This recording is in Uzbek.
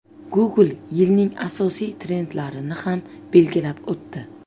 Google yilning asosiy trendlarini ham belgilab o‘tdi.